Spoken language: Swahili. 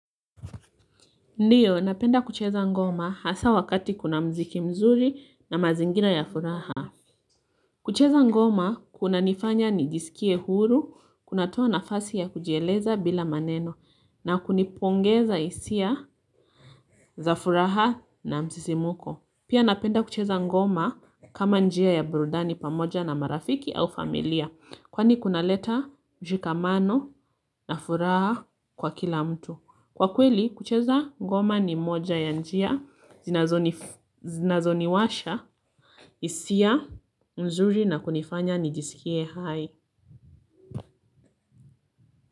Ndiyo napenda kucheza ngoma hasa wakati kuna mziki mzuri na mazingina ya furaha. Kucheza ngoma kunanifanya nijiskie huru, kunatoa nafasi ya kujieleza bila maneno na kunipongeza isia za furaha na msisimuko. Pia napenda kucheza ngoma kama njia ya burudani pamoja na marafiki au familia kwani kunaleta jikamano na furaha kwa kila mtu. Kwa kweli, kucheza ngoma ni moja ya njia, zinazoniwasha, isia, nzuri na kunifanya nijisikie hai.